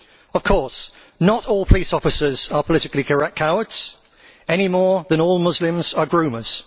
Of course, not all police officers are politically correct cowards, any more than all Muslims are groomers.